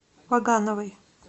вагановой